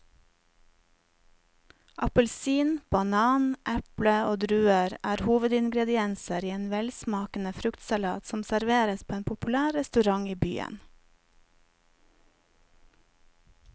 Appelsin, banan, eple og druer er hovedingredienser i en velsmakende fruktsalat som serveres på en populær restaurant i byen.